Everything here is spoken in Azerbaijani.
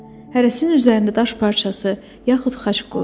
Hərəsinin üzərində daş parçası, yaxud xaç qoyulub.